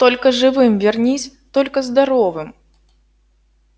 только живым вернись только здоровым